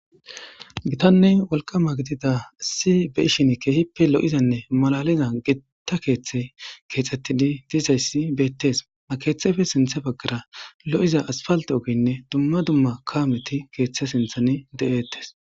gitanne wolqama gidida si be ishin keehippe lo7izanne malaliza gitta keeththe keexxettidi diizayssi beettes a keeththefe sinthe baggara lo7iza asfalta ogeynne dumma dumma kaameti keeththe sinthan de7eettes